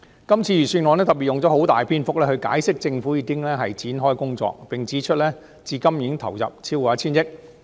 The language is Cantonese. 今次預算案用了很多篇幅解釋政府已經展開相關工作，並指出至今已投入超過 1,000 億元。